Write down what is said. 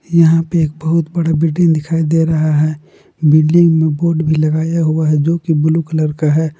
यहां पे एक बहुत बड़ा बिल्डिंग दिखाई दे रहा है बिल्डिंग में बोर्ड भी लगाया हुआ है जो की ब्लू कलर का है।